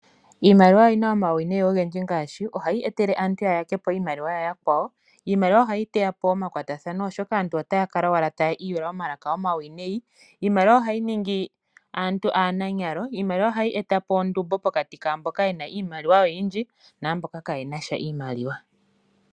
Iimaliwa oyina omauwinayi ogendji ngaashi, ohayi etele aantu ya yakepo yayakwawo. Iimaliwa ohayi teyapo omakwatathano , oshoka aantu otaya kala taya iyula omalaka omauwinayi . Iimaliwa ohayi ningi aantu aananyalo. Iimaliwa ohayi etapo ondumbo pokati kwaamboka yena iimaliwa oyindji naamboka kaayena sha iimaliwa.